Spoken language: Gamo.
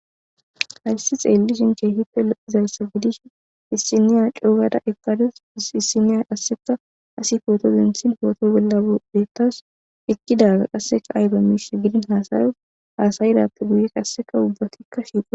Hayssi xeelli shinke hippe lo7izalsa gidish issiniya cuugada eqqadus issiniya asseka asi footozentsin pooto bolla deettas ekkidaga qasseka ayba miishs gidin haasayos haasayirappe guye qasseka ubbatikka shiiqo